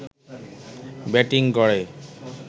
batting গড়ে